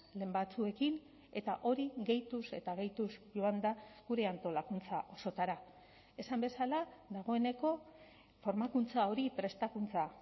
lehen batzuekin eta hori gehituz eta gehituz joanda gure antolakuntza osotara esan bezala dagoeneko formakuntza hori prestakuntza